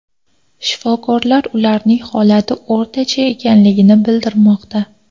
Shifokorlar ularning holati o‘rtacha ekanligini bildirmoqda.